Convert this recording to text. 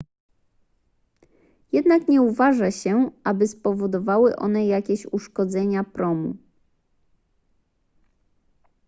jednak nie uważa się aby spowodowały one jakieś uszkodzenia promu